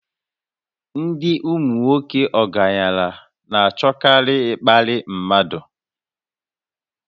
Ndị ụmụnwoke ọgaranya na-achọkarị ịkparị mmadụ